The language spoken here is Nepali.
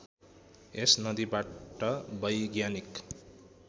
यस नदीबाट वैज्ञानिक